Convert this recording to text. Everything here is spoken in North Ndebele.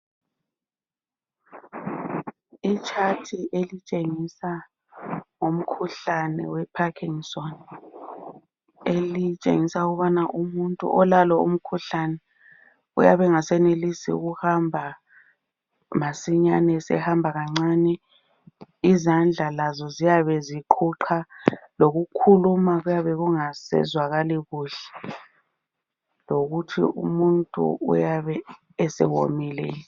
Itshathi elitshengisa ngomkhuhlane weParkinson. Elitshengisa ukuthi umuntu olalo umkhuhlane uyabe engasenelisi ukuhamba masinyane. Esehamba kancane. Izandla lazo ziyabe ziqhuqha. Lokukhuluma kuyabe engasazwakali kuhle. Lokuthi umuntu uyabe esewomile.